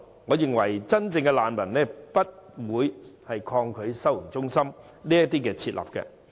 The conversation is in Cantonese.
我認為真正的難民不會抗拒設立收容中心。